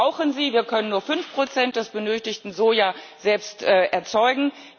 Wir brauchen sie, wir können nur 5 des benötigten Sojas selbst erzeugen.